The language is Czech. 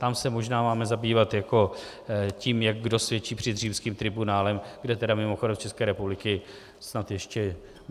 Tam se možná máme zabývat jako tím, jak kdo svědčí před římským tribunálem, kde tedy mimochodem z České republiky snad ještě...